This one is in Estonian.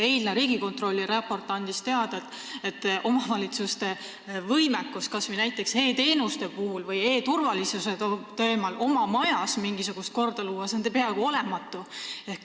Eile saime Riigikontrolli raportist teada, et omavalitsuste võimekus kas või näiteks e-teenuste või e-turvalisuse koha pealt oma majas mingisugust korda luua on peaaegu olematu.